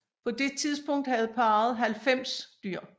På det tidspunkt havde parret 90 dyr